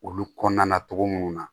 Olu kɔnɔna na cogo mun na